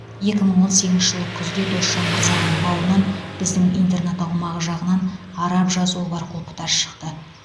екі мың он сегізінші жылы күзде досжан мырзаның бауынан біздің интернат аумағы жағынан араб жазуы бар құлпытас шықты